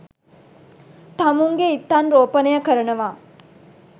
තමුන්ගේ ඉත්තන් රෝපණය කරනවා